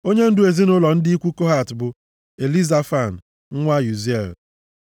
Onyendu ezinaụlọ ndị ikwu Kohat bụ Elizafan nwa Uziel.